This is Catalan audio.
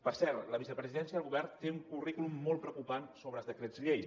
per cert la vicepresidència del govern té un currículum molt preocupant sobre decrets llei